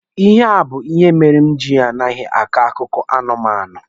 Ihe a bụ ihe mere m ji a naghị m a akọ akụkọ anụmanụ.